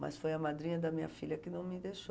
Mas foi a madrinha da minha filha que não me deixou.